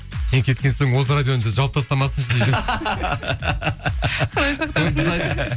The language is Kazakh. сен кеткен соң осы радионы жауып тастамасыншы дейді құдай сақтасын